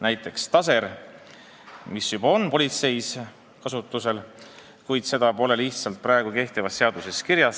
Näiteks on taser politseis kasutuses, kuid seda pole lihtsalt kehtivas seaduses kirjas.